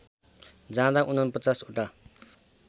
जाँदा ४९ ओटा